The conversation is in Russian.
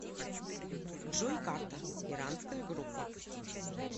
джой карта иранская группа